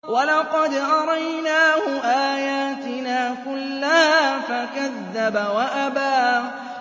وَلَقَدْ أَرَيْنَاهُ آيَاتِنَا كُلَّهَا فَكَذَّبَ وَأَبَىٰ